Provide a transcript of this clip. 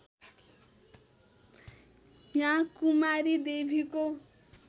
या कुमारी देवीको